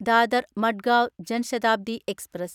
Dadar Madgaon Jan Shatabdi express